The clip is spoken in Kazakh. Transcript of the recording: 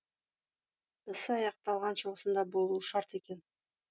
ісі аяқталғанша осында болуы шарт екен